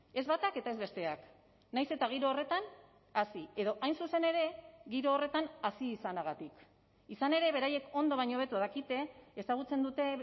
ez batak eta ez besteak nahiz eta giro horretan hasi edo hain zuzen ere giro horretan hasi izanagatik izan ere beraiek ondo baino hobeto dakite ezagutzen dute